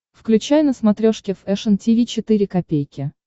включай на смотрешке фэшн ти ви четыре ка